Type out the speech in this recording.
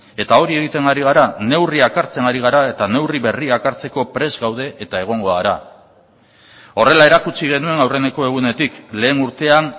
eta hori egiten ari gara neurriak hartzen ari gara eta neurri berriak hartzeko prest gaude eta egongo gara horrela erakutsi genuen aurreneko egunetik lehen urtean